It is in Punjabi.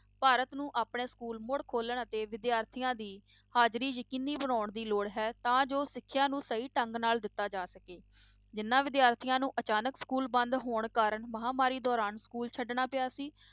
ਭਾਰਤ ਨੂੰ ਆਪਣੇ ਸਕੂਲ ਮੁੜ ਖੋਲਣ ਅਤੇ ਵਿਦਿਆਰਥੀਆਂ ਦੀ ਹਾਜ਼ਰੀ ਯਕੀਨੀ ਬਣਾਉਣ ਦੀ ਲੋੜ ਹੈ ਤਾਂ ਜੋ ਸਿੱਖਿਆ ਨੂੰ ਸਹੀ ਢੰਗ ਨਾਲ ਦਿੱਤਾ ਜਾ ਸਕੇ, ਜਿਹਨਾਂ ਵਿਦਿਆਰਥੀਆਂ ਨੂੰ ਅਚਾਨਕ school ਬੰਦ ਹੋਣ ਕਾਰਨ ਮਹਾਂਮਾਰੀ ਦੌਰਾਨ school ਛੱਡਣਾ ਪਿਆ ਸੀ।